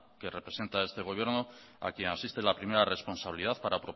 que representa este gobierno a quien asiste la primera responsabilidad